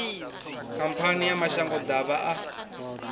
khamphani ya mashango ḓavha a